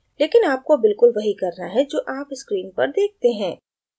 लेकिन आपको बिलकुल वही करना है जो आप screen पर देखते हैं